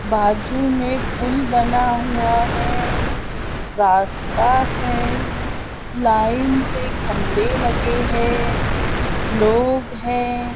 बाजू में पूल बना हुआ है रास्ता है लाइन से खम्बे लगे है लोग है।